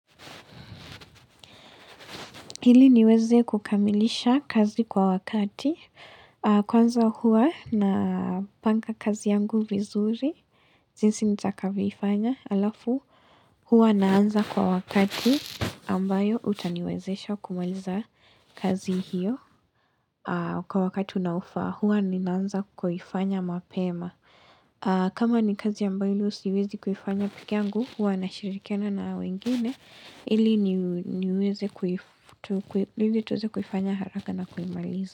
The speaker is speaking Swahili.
Ili niweze kukamilisha kazi kwa wakati, kwanza huwa na panga kazi yangu vizuri, jinsi nitakavyoifanya alafu, huwa naanza kwa wakati ambayo utaniwezesha kumaliza kazi hiyo kwa wakati unaofaa. Huwa ninaanza kuifanya mapema kama ni kazi ambayo hilo siwezi kuifanya pekee yangu huwa nashirikiana na wengine ili niweze, ili tuweze kuifanya haraka na kuimalizi.